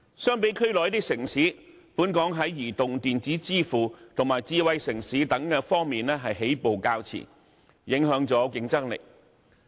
相比區內一些城市，本港在移動電子支付及智慧城市等方面起步較遲，影響了競爭力。